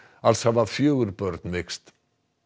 alls hafa fjögur börn veikst